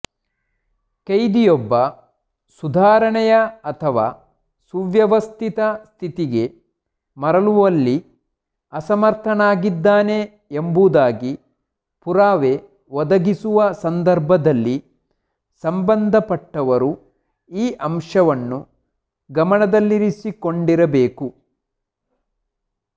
ಕೈದಿಯೊಬ್ಬ ಸುಧಾರಣೆಯ ಅಥವಾ ಸುವ್ಯವಸ್ಥಿತ ಸ್ಥಿತಿಗೆ ಮರಳುವಲ್ಲಿ ಅಸಮರ್ಥನಾಗಿದ್ದಾನೆ ಎಂಬುದಾಗಿ ಪುರಾವೆ ಒದಗಿಸುವ ಸಂದರ್ಭದಲ್ಲಿ ಸಂಬಂಧಪಟ್ಟವರು ಈ ಅಂಶವನ್ನು ಗಮನದಲ್ಲಿರಿಸಿಕೊಂಡಿರಬೇಕು